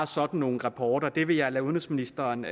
sådan nogle rapporter det vil jeg lade udenrigsministeren